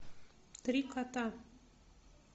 три кота